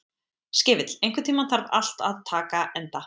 Skefill, einhvern tímann þarf allt að taka enda.